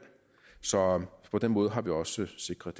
så på den måde har vi også sikret